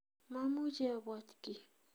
Mamuchi abwat kiy